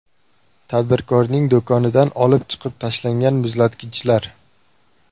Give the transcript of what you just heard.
Tadbirkorning do‘konidan olib chiqib tashlangan muzlatgichlar.